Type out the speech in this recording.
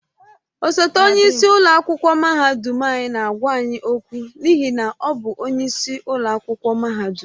Osote onye isi ụlọ akwụkwọ mahadum anyị na-agwa anyị okwu n'ihi na ọ bụ onyeisi ụlọ akwụkwọ mahadum.